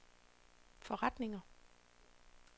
forretninger